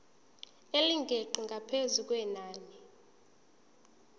elingeqi ngaphezu kwenani